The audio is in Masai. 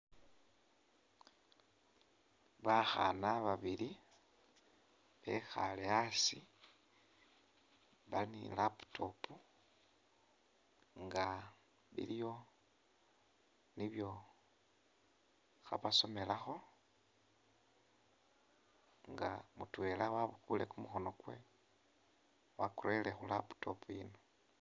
Bakhana babili bekhaale asi bali ne ilaptop nga biliyo nibyo khabasomelakho nga mutwela wabukule kumukhono kwewe wakurele khu laptop iyino.